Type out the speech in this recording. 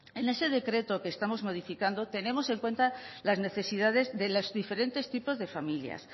en este decreto que estamos modificando tenemos en cuenta las necesidades de los diferentes tipos de familias